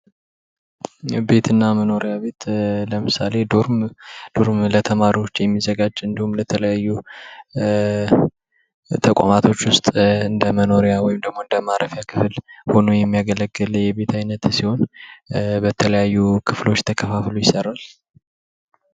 ቤት እና መኖሪያ ቤት ለምሳሌ ዶርም፤ ዶርም ለተማሪዎች የሚዘጋጅ እንዲሁም ለተለያዩ ተቋማቶች ውስጥ እንደ መኖሪያ ወይም እንደማረፊያ ክፍል ሆኖ የሚያገለግል የቤት አይነት ሲሆን በተለያዩ ክፍሎች ተከፋፍሎ ይሰራል።